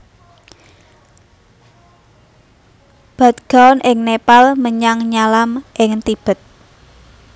Bhadgaon ing Nepal menyang Nyalam ing Tibet